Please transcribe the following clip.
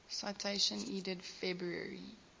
citation needed february